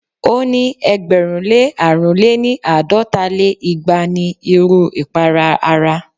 o ni ẹgbẹ̀rún lé àrún lé-ní- àádọ́ta lé igba n iru ipara ara